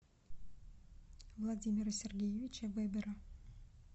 владимира сергеевича вебера